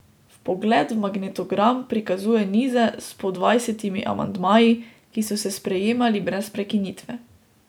Vpogled v magnetogram prikazuje nize s po dvajsetimi amandmaji, ki so se sprejemali brez prekinitve.